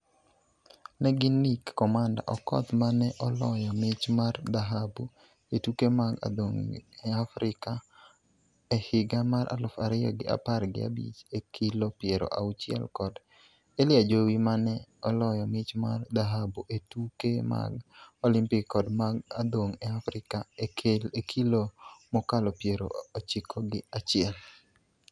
Ne gin Nick 'Commander' Okoth, ma ne oloyo mich mar dhahabu e tuke mag adhong' e Afrika e higa mar aluf ariyo gi apar gi abich e kilo piero auchiel kod Elly Ajowi ma ne oloyo mich mar dhahabu e tuke mag Olimpik kod mag adhong' e Afrika e kilo mokalo piero ochiko gi achiel.